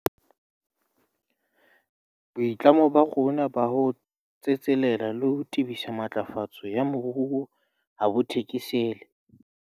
Boitlamo ba rona ba ho tsetselela le ho tebisa matlafatso ya moruo ha bo thekesele.